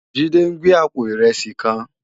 Jide n gbé àpó irèsí kán